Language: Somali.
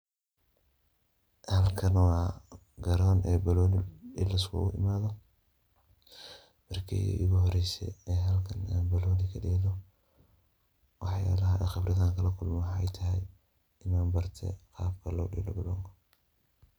Halkan wa Garoon oo banoon ee lisguku imathoh, marki igu horeysay, Aya halkan banooni kudeeloh waxaa lahay Qeebrat leeyahay waxaytahay Ina baartay qaabka lo deeloh banoonka.